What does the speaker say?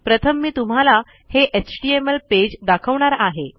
प्रथम मी तुम्हाला हे एचटीएमएल पेज दाखवणार आहे